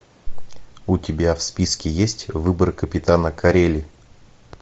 у тебя в списке есть выбор капитана корелли